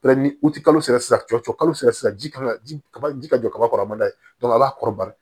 u tɛ kalo sara sisan cɔ kalo sera sisan ji kan ka ji ka ji ka jɔ kaba kɔrɔba ye a b'a kɔrɔbaya